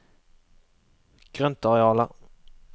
grøntarealer